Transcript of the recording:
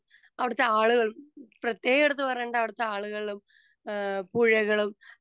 speaker 2 അവിടുത്തെ ആളുകളും പ്രേത്യേകം എടുത്തു പറയേണ്ടത് അവിടുത്തെ ആളുകളും പുഴകളും